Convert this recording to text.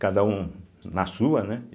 cada um na sua, né?